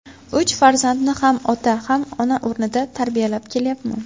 Uch farzandni ham ota, ham ona o‘rnida tarbiyalab kelyapman.